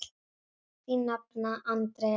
Þín nafna, Andrea Arna.